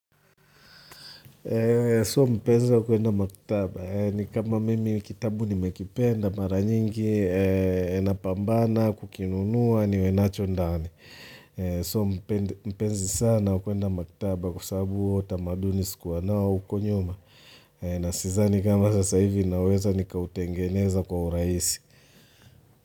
So mtaanza kwenda maktaba, yaani kama mimi kitabu nimekipenda mara nyingi, napambana, kukinunua, niwe nacho ndani. So mpenzi sana wa kwenda maktaba kwa sababu huo utamaduni sikuwa nao huko nyuma. Na sidhani kama sasa hivi naweza nikautengeneza kwa urahisi.